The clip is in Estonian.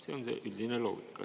See on see üldine loogika.